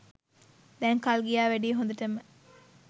දැන් කල් ගියා වැඩියි හොඳටම.